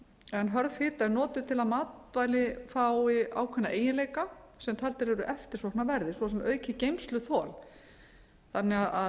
en hörð ásta er notuð til að matvæli fái ákveðna eiginleika sem taldir eru eftirsóknarverðir svo sem aukið geymsluþol þannig að